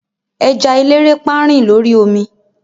eja elerepa rin l'ori omi